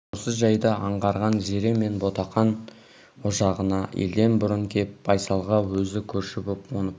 осы жайды аңғарған зере мына ботақан ошағына елден бұрын кеп байсалға өзі көрші боп қоныпты